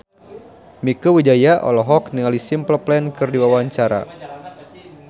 Mieke Wijaya olohok ningali Simple Plan keur diwawancara